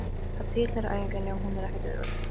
Það tilheyrir æfingunni og hún er ekkert auðveld.